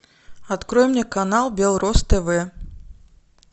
открой мне канал белрос тв